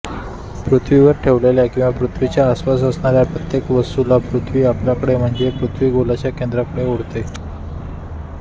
पृथ्वीवर ठेवलेल्या किंवा पृथ्वीच्या आसपास असणाऱ्या प्रत्येक वस्तूला पृथ्वी आपल्याकडे म्हणजे पृथ्वीगोलाच्या केंद्राकडे ओढते